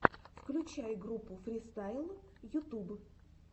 включай группу фристайл ютуб